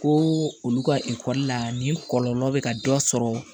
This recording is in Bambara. Ko olu ka ekɔli la nin kɔlɔlɔ bɛ ka dɔ sɔrɔ